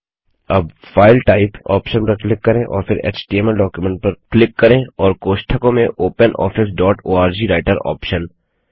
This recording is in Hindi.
अब फाइल टाइप ऑप्शन पर क्लिक करें और फिर एचटीएमएल डॉक्यूमेंट पर क्लिक करें और कोष्ठकों में OpenOffice dot ORG writer option